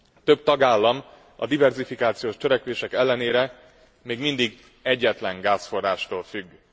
Több tagállam a diverzifikációs törekvések ellenére még mindig egyetlen gázforrástól függ.